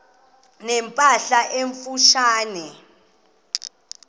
ne mpahla emfutshane